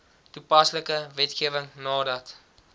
toepaslike wetgewing nadat